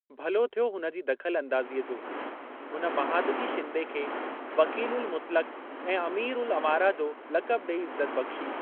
भलो थियो हुन जी दखल अंदाज़ीअ जो, हुन महादजी शिंदे खे वकील-उल-मुतलक़ ऐं अमीर-उल-अमारा जो लकब ॾई इज़्ज़त बख्शी।